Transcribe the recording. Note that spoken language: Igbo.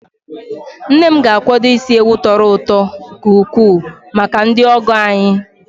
Nne m ga-akwado isi ewu tọrọ ụtọ nke ukwuu maka ndị ọgọ anyị.